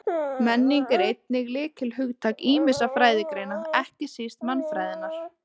Menning er einnig lykilhugtak ýmissa fræðigreina, ekki síst mannfræðinnar.